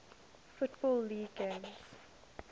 football league games